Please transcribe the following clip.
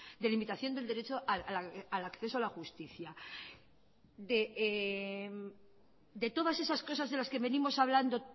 de limitación del derecho al acceso a la justicia de todas esas cosas de las que venimos hablando